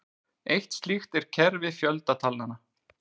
Eitt slíkt er kerfi fjöldatalnanna.